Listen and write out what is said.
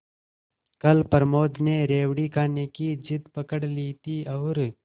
कल प्रमोद ने रेवड़ी खाने की जिद पकड ली थी और